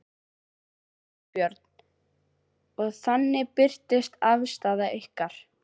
Þorbjörn: Og þannig birtist afstaða ykkar?